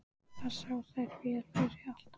Þar sáu þær vel yfir allt.